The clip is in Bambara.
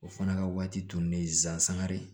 O fana ka waati tun bɛ zankari